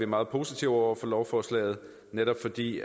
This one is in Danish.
meget positive over for lovforslaget netop fordi